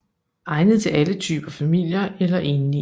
Egnet til alle typer familier eller enlige